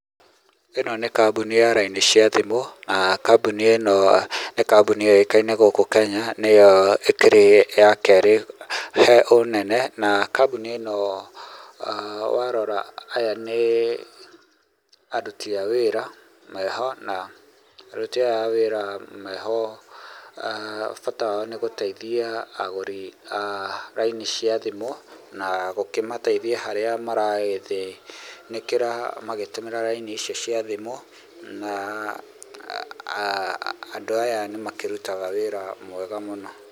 Ĩno nĩ kambuni ya raini cia thimũ, kambuni ĩno nĩ kambuni yũĩkaine gũkũ Kenya, nĩyo ĩkĩrĩ ya kerĩ he ũnene na kambuni ĩno warora, aya nĩ aruti a wĩra meho na, aruti aya a wĩra meho bata wao nĩ gũtaithia agũri a raini cia thimũ, na gũkĩmataithia harĩa maragĩthĩnĩkĩra magĩtũmĩra raini icio cia thimũ na, andũ aya nĩ makĩrutaga wĩra mwega mũno.